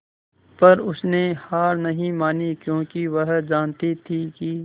पर उसने हार नहीं मानी क्योंकि वह जानती थी कि